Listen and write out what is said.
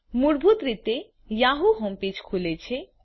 મૂળભૂત રીતે Yahoo home page ખુલે છે